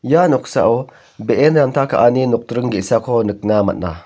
ia noksao be·en ranta ka·aniko nokdring ge·sako nikna man·a.